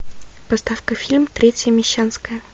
поставь ка фильм третья мещанская